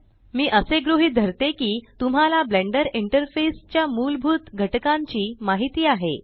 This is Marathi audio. मी असे गृहीत धरते की तुम्हाला ब्लेंडर इंटरफेस च्या मूलभूत घटकांची माहिती आहे